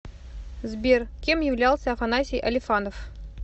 сбер кем являлся афанасий алифанов